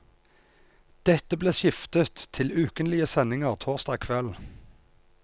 Dette ble skiftet til ukentlige sendinger torsdag kveld.